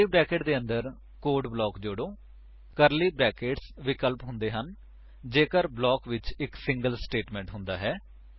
ਕਰਲੀ brackets ਦੇ ਅੰਦਰ code block ਜੋੜੋ ਕਰਲੀ ਬਰੈਕੇਟਸ ਵਿਕਲਪਿਕ ਹੁੰਦੇ ਹਨ ਜੇਕਰ ਬਲਾਕ ਵਿੱਚ ਇਕ ਸਿੰਗਲ ਸਟੇਟਮੇਂਟ ਹੁੰਦਾ ਹੈ